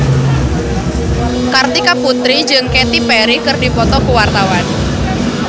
Kartika Putri jeung Katy Perry keur dipoto ku wartawan